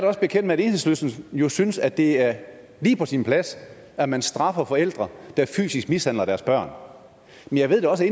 også bekendt med at enhedslisten jo synes at det er lige på sin plads at man straffer forældre der fysisk mishandler deres børn jeg ved også